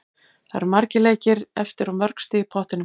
Það eru margir leikir eftir og mörg stig í pottinum.